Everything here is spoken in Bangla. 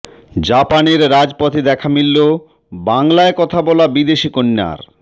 জাপানের রাজপথে দেখা মিলল বাংলায় কথা বলা বিদেশি কন্যার